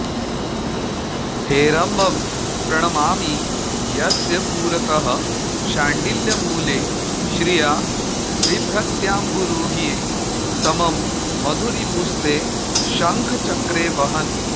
हेरम्बं प्रणमामि यस्य पुरतः शाण्डिल्यमूले श्रिया बिभ्रत्याम्बुरुहे समं मधुरिपुस्ते शङ्खचक्रे वहन्